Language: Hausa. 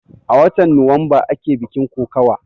A watan nuwamba ake bikin kokawan